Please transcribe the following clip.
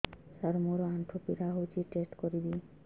ସାର ମୋର ଆଣ୍ଠୁ ପୀଡା ହଉଚି କଣ ଟେଷ୍ଟ କରିବି